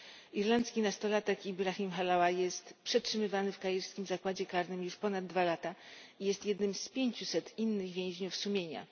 Irlandzki nastolatek Ibrahim Halawa jest przetrzymywany w kairskim zakładzie karnym już ponad dwa lata i jest jednym z pięciuset innych więźniów sumienia.